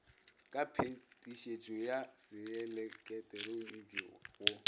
ka phetišetšo ya seeleketeroniki go